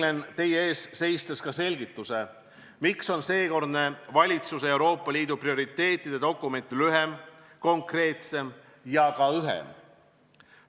Võlgnen teie ees seistes ka selgituse, miks on seekordne valitsuse Euroopa Liidu prioriteetide dokument lühem, konkreetsem ja ka õhem.